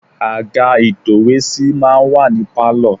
Àga ìtòwésí máa ń wà ní Pálọ̀.